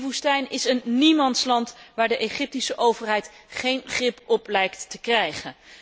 Die woestijn is een niemandsland waar de Egyptische overheid geen grip op lijkt te krijgen.